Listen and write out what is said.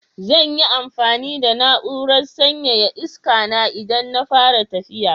Zan yi amfani da na'urar sanyaya iskana idan na fara tafiya.